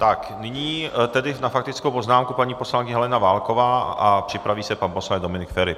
Tak, nyní tedy na faktickou poznámku paní poslankyně Helena Válková a připraví se pan poslanec Dominik Feri.